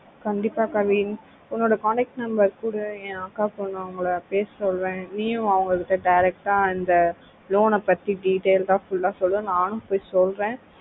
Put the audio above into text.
கண்டிப்பா கெவின் எண்ணனோட collage members ஏன் அக்கா செல்வங்கள பேசுற நீயும் அவங்க கிட்ட direct ஆஹ் அந்த loan ஆஹ் பத்தி detailed ஆஹ் fulla சொல்லு நானும் பொய் சொல்லுற